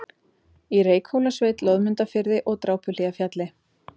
í Reykhólasveit, Loðmundarfirði og Drápuhlíðarfjalli.